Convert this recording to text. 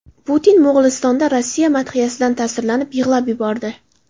Putin Mo‘g‘ulistonda Rossiya madhiyasidan ta’sirlanib, yig‘lab yubordi .